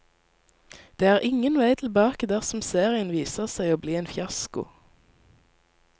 Det er ingen vei tilbake dersom serien viser seg å bli en fiasko.